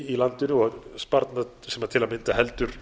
í landinu og sparnað sem til að mynda heldur